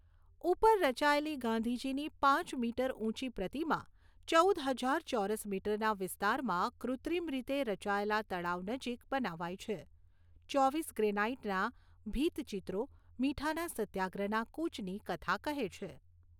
ઉપર રચાયેલી ગાંધીજીની પાંચ મીટર ઊંચી પ્રતિમા ચૌદ હજાર ચોરસ મીટરના વિસ્તારમાં કૃત્રિમ રીતે રચાયેલા તળાવ નજીક બનાવાઈ છે. ચોવીસ ગ્રેનાઇટના ભીંત ચિત્રો મીઠાના સત્યાગ્રહના કૂચની કથા કહે છે.